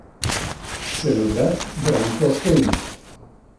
Scenograf Branko Hojnik.